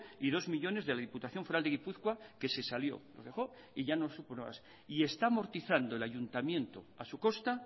y dos millónes de la diputación foral de gipuzkoa que se salió lo dejó y ya no supo nada más y está amortizando el ayuntamiento a su costa